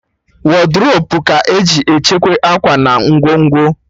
Wọdrobu ka-eji echekwa akwa na ngwongwo